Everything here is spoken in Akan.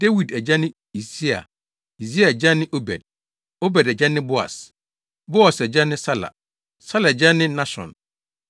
Dawid agya ne Yisai; Yisai agya ne Obed; Obed agya ne Boas; Boas agya ne Sala; Sala agya ne Nahson;